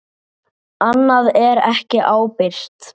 Annað er ekki ábyrgt.